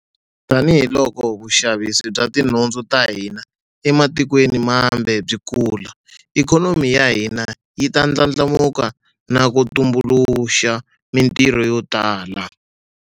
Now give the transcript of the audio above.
Tanihiloko vuxavisi bya tinhundzu ta hina ematikweni mambe byi kula, ikhonomi ya hina yi ta ndlandlamuka na ku tumbuluxa mitirho yo tala.